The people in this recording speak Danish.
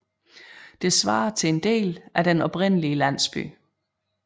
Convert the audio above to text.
Det svarer til en del af den oprindelige landsby